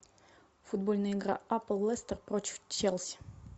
футбольная игра апл лестер против челси